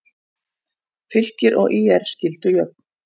Fylkir og ÍR skildu jöfn